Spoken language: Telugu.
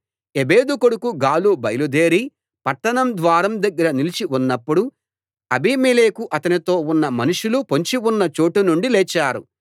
ఎబెదు కొడుకు గాలు బయలుదేరి పట్టణం ద్వారం దగ్గర నిలిచి ఉన్నప్పుడు అబీమెలెకు అతనితో ఉన్న మనుషులు పొంచి ఉన్న చోటు నుండి లేచారు